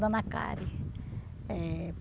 Dona Karen. Eh